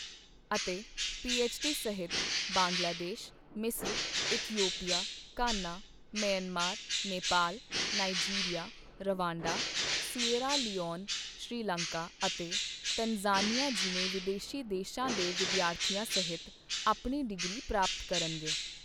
ਅਤੇ ਪੀਐੱਚਡੀ ਸਹਿਤ ਬੰਗਲਾਦੇਸ਼, ਮਿਸ੍ਰ, Ethiopia, Ghana, Myanmar, Nepal, Nigeria, Rwanda, Sierra Leone, Sri Lanka ਅਤੇ ਤਨਜ਼ਾਨੀਆ ਜਿਵੇਂ ਵਿਦੇਸ਼ੀ ਦੇਸ਼ਾਂ ਦੇ ਵਿਦਿਆਰਥੀਆਂ ਸਹਿਤ ਆਪਣੀ ਡਿਗਰੀ ਪ੍ਰਾਪਤ ਕਰਨਗੇ।